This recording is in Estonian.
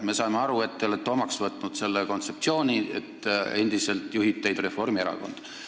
Me saame aru, et te olete omaks võtnud kontseptsiooni, et endiselt juhib teid Reformierakond.